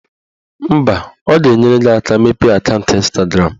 Mba, ọ ga-enyere gị aka mepee akaụntụ Ịnstagram